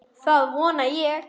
Það vona ég